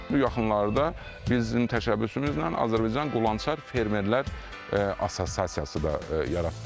Bu yaxınlarda biz bizim təşəbbüsümüzlə Azərbaycan Qulançar Fermerlər Assosiasiyası da yaratdıq.